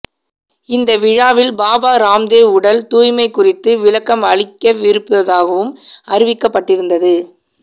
இந்த விழாவில் பாபா ராம்தேவ் உடல் தூய்மை குறித்து விளக்கம் அளிக்கவிருப்பதாகவும் அறிவிக்கப்பட்டிருந்தது